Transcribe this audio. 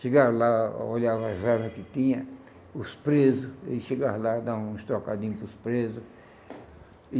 Chegava lá, olhava as que tinha, os presos, e chegava lá, dá uns trocadinhos para os presos e.